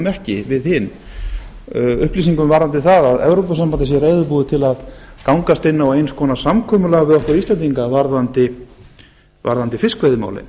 ekki við hin upplýsingum varðandi það að evrópusambandið sé reiðubúið til að gangast inn á eins konar samkomulag við okkur íslendinga varðandi fiskveiðimálin